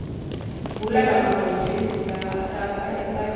bhula lamabhontjisi lapha esakeni